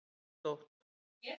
Jónstótt